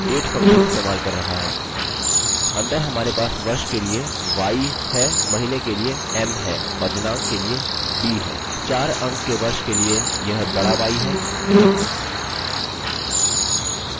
4 अंक के वर्ष के लिए यह बड़ा y है यदि हम छोटा y इस्तेमाल करते हैं हमारे पास 2 अंक का वर्ष होगा